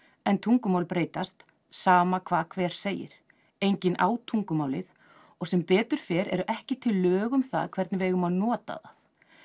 en tungumál breytast sama hvað hver segir enginn á tungumálið og sem betur fer eru ekki til lög um það hvernig við eigum að nota það